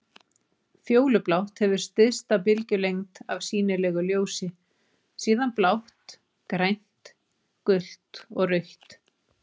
Fjólublátt hefur stysta bylgjulengd af sýnilegu ljósi, síðan blátt, grænt, gult og rautt.